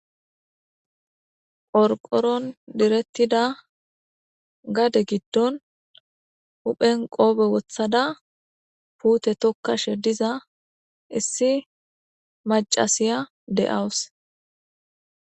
Qorqoron direttida gade giddon huphen qoobe woththada puute tokkashe diza issi maccasiya de'awus.